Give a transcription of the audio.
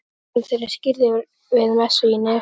Drengurinn þeirra er skírður við messu í Neskirkju.